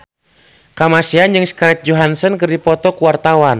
Kamasean jeung Scarlett Johansson keur dipoto ku wartawan